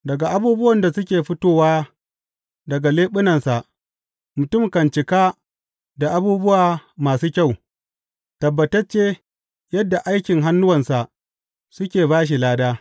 Daga abubuwan da suke fitowa daga leɓunansa mutum kan cika da abubuwa masu kyau tabbatacce yadda aikin hannuwansa suke ba shi lada.